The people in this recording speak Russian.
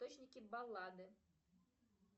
источники баллады